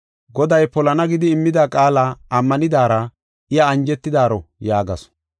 Goday polana gidi immida qaala ammanidara, iya anjetidaaro” yaagasu.